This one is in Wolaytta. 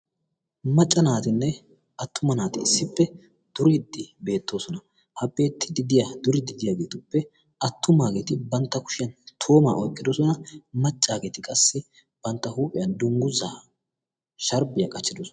macca naatinne attuma naati issippe duriiddi beettoosona. ha beettiddi diya duriiddi diyaageetuppe attumaageeti bantta kushiyan tooraa oykkidosona. maccaageeti qassi bantta huuphiyan dungguzaa sharbbiyaa qachchidosona.